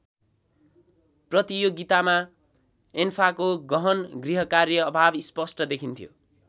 प्रतियोगितामा एन्फाको गहन गृहकार्य अभाव स्पष्ट देखिन्थ्यो।